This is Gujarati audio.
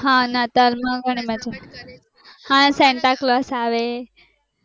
હા નાતાલ માં પણ હા santa claus આવે